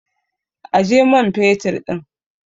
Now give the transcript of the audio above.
Aje man fetur ɗin!